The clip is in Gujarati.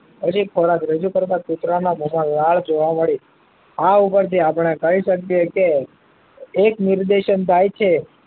નજીક થોડા રજુ કરતા કુતરા ના વાળ જોવા મળે આં ઉપર થી આપડે કહી શકીએ કે એક નિર્દેશન થાય છે